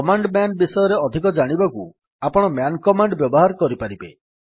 command man ବିଷୟରେ ଅଧିକ ଜାଣିବାକୁ ଆପଣ ମ୍ୟାନ୍ କମାଣ୍ଡ୍ ବ୍ୟବହାର କରିପାରିବେ